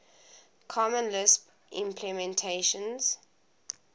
common lisp implementations